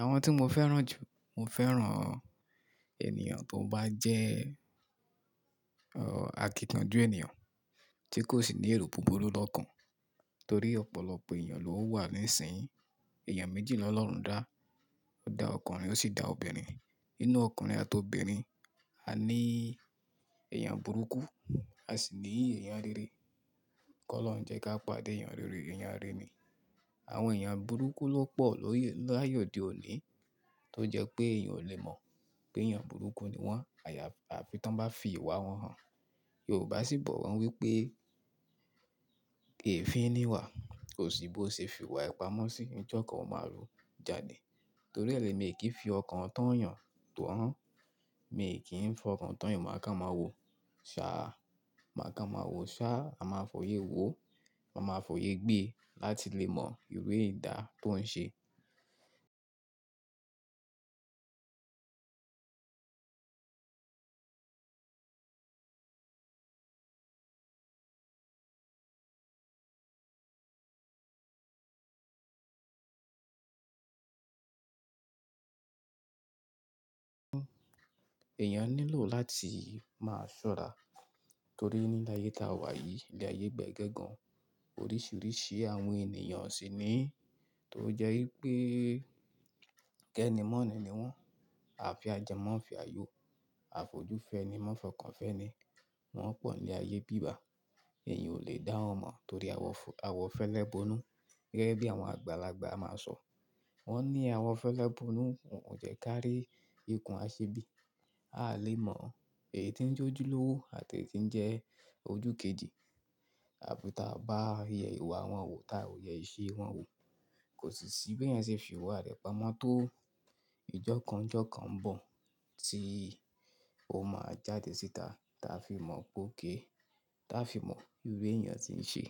Àwọn tí mo fẹ́ràn jù, mo fẹ́ràn ènìyàn tó bá jẹ́ akíkanjú ènìyàn, tí kò sì ní èrò búburú lọ́kàn. Torí ọ̀pọ̀lọpọ̀ ènìyàn ló wà níìsín. Ẹ̀yàn méjì ni Ọlọ́run dá. Ó dá ọkùnrin, ó sì dá obìnrin. Inú ọkùnrin àti obìnrin, a ní èèyàn burúkú, a sì ní èèyàn rere. Kọ́ lọ́hun jẹ́ ká pàdé èèyàn rere, èèyàn rere ni. Àwọn èèyàn burúkú ló pọ̀ lóye l'áye òde òní tó jẹ́ pé èèyàn ò lè mọ̀ pé èèyàn burúkú ni wọ́n àyà àfi tí wọ́n bá fi ìwà wọn hàn. Yorùbá sì bọ̀ wọ́n wípé, "Eefín nìwà, koṣì bó ṣe fi ìwà e pamọ́ sí, ìjọ́kan ò máa ru jade." Torí ẹ́ lẹ̀ mi e kì í fi ọkàn tán yàn tó hàn. Mi kì í fọkàn tán yàn, màá kán máa wo ṣáá. Màá kán máa wo ṣáá, mà máa fòyé wo, ma máa fòyé gbé láti lè mọ ìru edá tó ń ṣe. Eeyàn nílò láti máa ṣọ́ra torí ní láyé táa wà yìí, ilé-ayé gbẹ́gẹ́ gàn, oríṣiríṣi àwọn ènìyàn sì ní. Tó jẹ́ wípé kẹ́ni mọ̀ni ni wọ́n. À fe a jẹ maa fe ayọ́, àfojú fẹni ma fọkàn fẹ́ẹ́nì. Wọ́n pọ̀ ní ayé bíbà. Eeyàn ò lè dá wọn mọ̀ torí àwọ fẹ́, àwọ fẹ́lẹ́ bonú. Gẹ́gẹ́ bí àwọn àgbàlagbà máa ń sọ, wọ́n ní àwọn fẹ́lẹ́ bonú òùn jẹ ká rí ikùn aṣebí. A a lè mọ èyí ti ń jójú lówó àti èyí ti ń jẹ ojú keji. Àfi táa bá rí iwà wọn wò, táa ò yẹ ìṣe wọn wò, kò sì ṣì bí èèyàn ṣe fi ìwà rẹ̀ pamọ́ tó, ìjọ́kan n jókan ń bọ̀ tí ó máa jáde síta táa fi mọ̀ pe okay, táa fi mọ ìru èèyàn tí ń ṣe.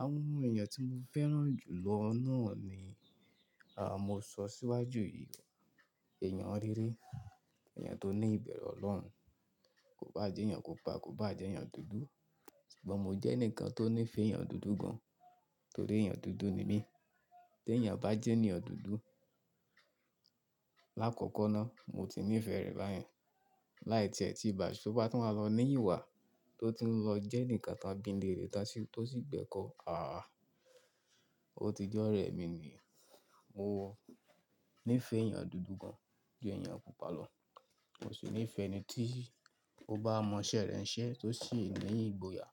Awon omo eèyàn tí mo fẹ́ràn jù lọ náà ni, mo sọ síwájú yìí, èèyàn rere, èèyàn tó ní ìbẹ̀rù Ọlọ́run, kò bá jẹ́ èèyàn pupa, kò bá jẹ́ èèyàn dúdú. Ṣùgbọ́n mo jẹ́ ẹnìkan tó ní ìfẹ́ èèyàn dúdú gan torí èèyàn dúdú ni mí. Tí èèyàn bá jẹ́ ènìyàn dúdú l'àkọ́kọ́ náà, mo ti ní ìfẹ́ rẹ̀ báyen. Láì tie tí bà ṣe, to bá tun wá lọ ní ìwà, tó tun lọ jẹ́nìkan tán bí n le rẹ̀ tán sì tó sì gbẹ́kọ̀, àáa, ó ti jẹ́ ọ̀rẹ́ mi niyen. Mo ní ìfẹ́ èèyàn dúdú gan ju èèyàn pupa lọ. Mo sì ní ìfẹ́ ẹni tí ó bá mọ iṣẹ́ rẹ̀ ń ṣẹ́ tó sì ní ìgboyà,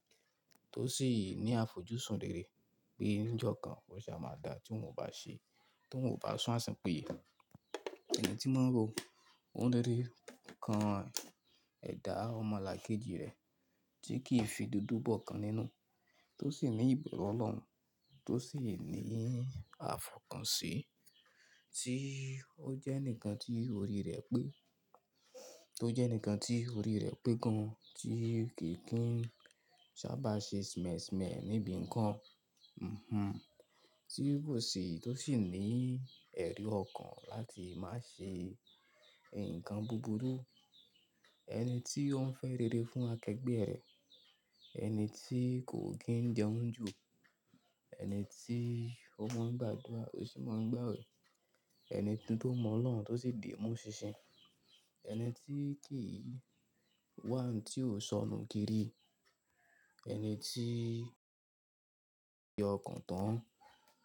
tó sì ní àfojúsùn rere pé níjọ́ kan, oun ó ṣa máa dá tí wọn ò bá ṣe, tí wọn ò bá sún asun pinye. Ẹni tí máa ń ro, ó ń rí nǹkan ẹ̀dá omo lákéji rẹ̀ tí kì í fi dúdú bọ́kan nínú, tó sì ní ìbẹ̀rù Ọlọ́run, tó sì ní àfọ̀kànṣ, í tí ó jẹ́ ẹnìkan tí orí rẹ̀ pé, tó jẹ́ ẹnìkan tí orí rẹ̀ pé gan, tí kiì tun ń sábà ṣe smẹ̀ smẹ̀ níbi nǹkan. Mh-hm. Tí kò sì tó sì ní ẹ̀ri ọkàn láti má ṣe nǹkan búburú. Ẹni tí ó ń fẹ́ rere fún akẹgbẹ́ rẹ̀. Ẹni tí kò kí ń jẹun jù. Ẹni tí ó máa ń gbàdúrà, ó sì máa ń gbàwẹ̀. Ẹni tó mọ Ọlọ́run, tó sì dìímú ṣinṣin. Ẹni tí kì í wá ǹ tí ò sọnù kiri. Ẹni tí ọkàn tán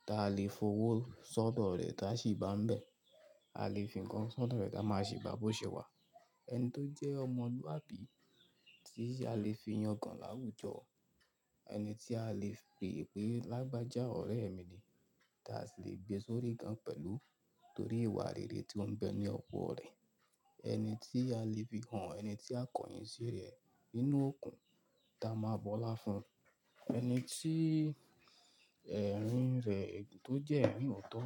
táa lè f'ówó sọ́do rẹ̀ tá a sì bá ń bẹ̀. A lè fi nǹkan sọ́do rẹ̀ táa máa ṣi bá bó ṣe wà. Ẹni tó jẹ́ ọmọlúwàb, í tí a lè fi yàngan láwùjọ. Ẹni tí a lè pè pé, "Lágbájá ọ̀rẹ́ mi ni." Táa sì lè gbé e sórí gan pẹ̀lú, torí ìwà rere tí ó ń bẹ ní ọ̀pọ̀lo rẹ́. Ẹni tí a lè fi hàn, ẹni tí akọ̀yìn sí rẹ̀ nínú òokun táa máa bọ́lá fún. Ẹni tí ẹ̀rín rẹ̀, tó jẹ́ ẹ̀rín oọ̀tọ́.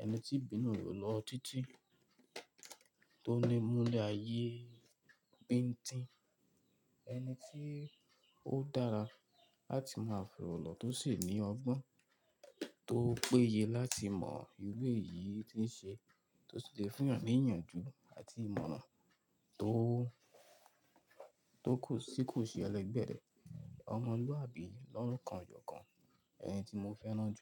Ẹni tí ibínú re o lọ títí, tó ní múlẹ̀ ayé bíńńtin. Ẹni tí ó dára láti máa forolọ́, tó sì ní ọgbọ́n tó péye láti mọ ìru éyìí ti ń ṣe, tó sì lè fún ènìyàn ní ìyànjú àti ìmọ̀ràn tó, tó kò sí kò ṣe ẹlẹgbẹ̀ẹ́. Ọmọlúwàbí lọ́kan jókan, ẹni tí mo fẹ́ràn jù.